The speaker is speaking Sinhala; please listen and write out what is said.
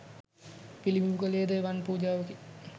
පිළිබිඹු කළේ ද එවන් පුජාවකි.